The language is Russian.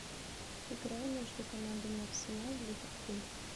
игра между командами арсенал ливерпуль